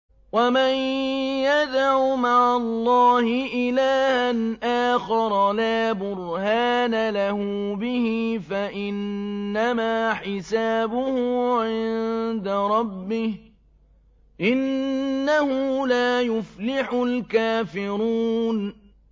وَمَن يَدْعُ مَعَ اللَّهِ إِلَٰهًا آخَرَ لَا بُرْهَانَ لَهُ بِهِ فَإِنَّمَا حِسَابُهُ عِندَ رَبِّهِ ۚ إِنَّهُ لَا يُفْلِحُ الْكَافِرُونَ